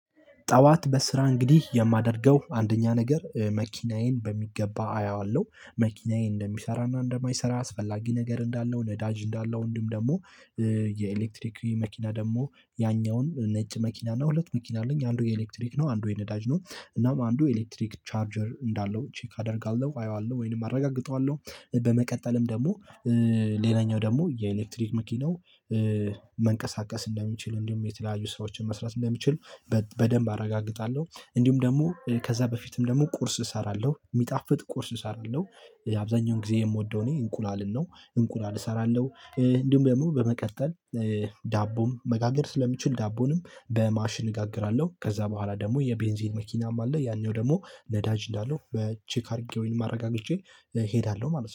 ጠዋት በስራ እንግዲህ የማደርገው አንደኛ ነገር መኪናዬን በሚገባ አየዋለሁ መኪናዬ እንደሚሰራና እንደማይሰራ አስፈላጊ ነገር እንዳለው ነዳጅ እንዳለው እንዲም ደግሞ። የኤሌክትሪክ መኪና ደግሞ ያኛውን ነጭ መኪና እና ሁለት መኪና አለኝ አንዱ የኤሌክትሪክ ነው አንዱ የነዳጅ ነው። እናም አንዱ ኤሌክትሪክ ቻርጀር እንዳለው ቼክ አደርጋለሁ አየዋለሁ ወይንም አረጋግጠዋለሁ። በመቀጠልም ደግሞ ሌላኛው ደግሞ የኤሌክትሪክ መኪናው መንቀሳቀስ እንደሚችል እንዲሁም የተለያዩ ስራዎችን መስራት እንደሚችል። በደንብ አረጋግጣለሁ እንዲሁም ደግሞ ከዛ በፊትም ደግሞ ቁርስ እሰራለሁ የሚጣፍጥ ቁርስ እሰራለሁ። አብዛኛውን ጊዜ የምወደው እኔ እንቁላልን ነው እንቁላል እሰራለሁ። እንዲሁም ደግሞ በመቀጠል ዳቦም መጋገር ስለሚችል ዳቦንም በማሽን እጋግራለሁ። ከዛ በኋላ ደግሞ የቤንዚን መኪናም አለ ያኛው ደግሞ ነዳጅ እንዳለው በቼክ አድርጌ ወይም አረጋግጨ እሄዳለሁ ማለት ነው